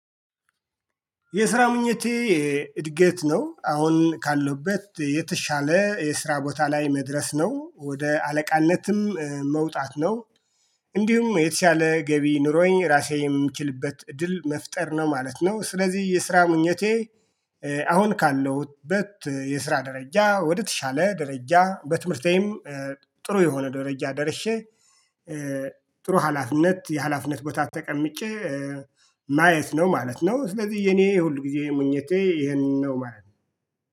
የስራ ምኞቴ እድገት ነው አሁን ካለውበት የተሻለ የስራ ቦታ ላይ መድረስ ነው ወደ አለቃነትም መውጣት ነው። እንዲሁም የተሻለ ገቢ ኑሮዬን ራሴ የምችልበት እድል መፍጠር ነው ማለት ነው። ስለዚህ የስራ ምኞቴ። አሁን ካለሁበት የስራ ደረጃ ወደተሻለ ደረጃ በትምህርቴም ጥሩ የሆነ ደረጃ ደርሼ። ጥሩ ሀላፍነት የሀላፍነት ቦታ ተቀምጬ ማየት ነው ማለት ነው። ስለዚህ የኔ ሁል ጊዜ ምኞቴ ይሄንን ነው ማለት ነው